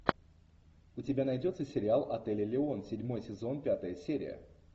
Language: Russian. у тебя найдется сериал отель элеон седьмой сезон пятая серия